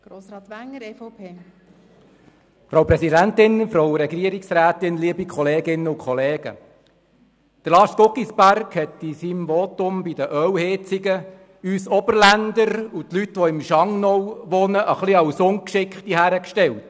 Lars Guggisberg hat uns Oberländer und die Leute im Schangnau in seinem Votum zu den Ölheizungen als etwas ungeschickt dargestellt.